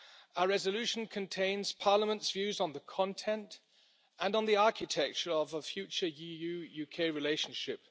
Our resolution contains Parliament's views on the content and on the architecture of a future EU UK relationship.